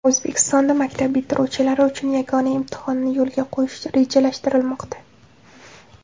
O‘zbekistonda maktab bitiruvchilari uchun yagona imtihonni yo‘lga qo‘yish rejalashtirilmoqda.